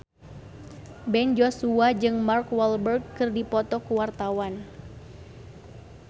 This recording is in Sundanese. Ben Joshua jeung Mark Walberg keur dipoto ku wartawan